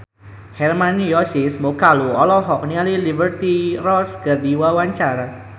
Hermann Josis Mokalu olohok ningali Liberty Ross keur diwawancara